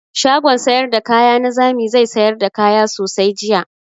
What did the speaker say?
Shagon sayar da kaya na zami zai sayar da kaya sosai jiya.